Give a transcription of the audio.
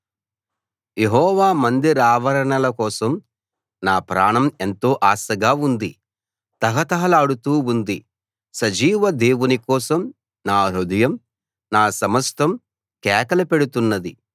యెహోవా మందిరావరణాల కోసం నా ప్రాణం ఎంతో ఆశగా ఉంది తహతహలాడుతూ ఉంది సజీవ దేవుని కోసం నా హృదయం నా సమస్తం కేకలు పెడుతున్నది